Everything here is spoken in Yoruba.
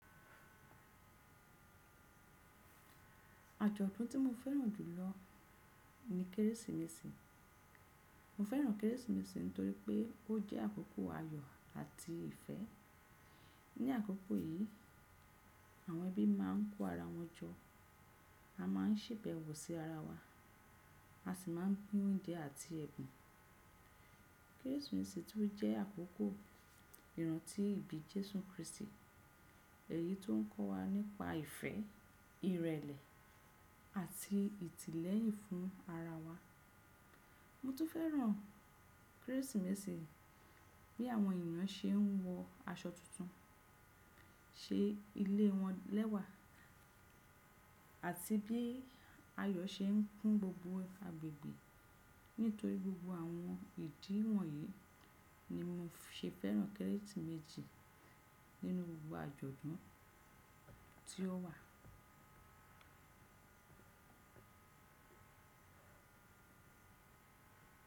Àjọ̀dún tí mo fẹ́ràn jù lọ ni Kérésìmesì. Mo fẹ́ràn Kérésìmesì nítorí pé ó jẹ́ àkókò ayọ̀ àti ìfẹ́. Ni àkókò yìí, àwọn ẹbí máa ń kó ara wọn jọ, a máa ń ṣèbẹ̀wò sí ara wa, a sì máa ń pín oúnjẹ àti ẹ̀bùn. Kérésìmesì tún jẹ́ àkókò ìrántí ìbí Jésù Kristi, èyí tó ń kọ́ wa nípa ìfẹ́, ìrẹ̀lẹ̀ àti ìtìlẹ́yìn fún ara wa. Mo tún fẹ́ràn Kérésìmesì bí àwọn ènìyàn ṣe ń wọ aṣọ tuntun, ṣe ilé wọn lẹ́wà, àti bí ayọ̀ ṣe ń kún gbogbo agbègbè. Nítorí gbogbo àwọn ìdí wọ̀nyí ni mo ṣe fẹ́ràn Kérésìmesì nínú gbogbo àjọ̀dún tí ó wà.